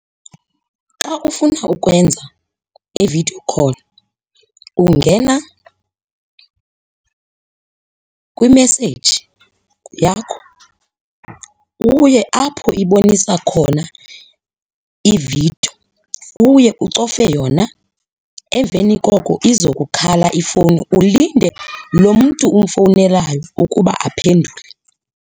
Xa ufuna ukwenza i-video call ungena kwimeseji yakho uye apho ibonisa khona iividiyo. Uye ucofe yona, emveni koko izokukhala ifowuni ulinde lo mntu umfowunelayo ukuba aphendule.